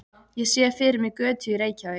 Ég sé fyrir mér götu í Reykjavík.